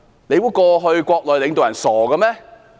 你以為過去國內的領導人是傻子嗎？